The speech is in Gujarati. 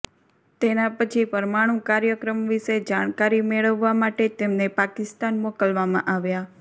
તેના પછી પરમાણુ કાર્યક્રમ વિશે જાણકારી મેળવવા માટે તેમને પાકિસ્તાન મોકલવામાં આવ્યા